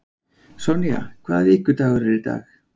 Sonja, hvaða vikudagur er í dag?